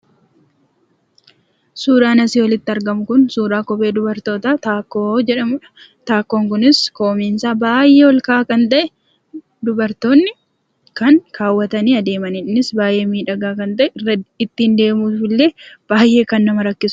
Suuraan asii olitti argamu kun, suuraa kophee dubartoota ´taakkoo´ jedhamuudha. Taakkoon kunis, koomeen isaa baay'ee ol ka'aa kan ta'e, dubartoonni kan kawwatanii adeemaniidha. Innis baay'ee miidhagaa kan ta'e, ittiin deemuufillee baay'ee kan nama rakkisuudha.